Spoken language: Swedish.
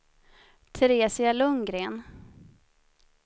Teresia Lundgren